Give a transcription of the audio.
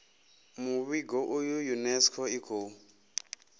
muvhigo uyu unesco i khou